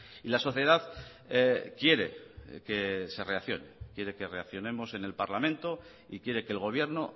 y la sociedad quiere que se reaccione quiere que reaccionemos en el parlamento y quiere que el gobierno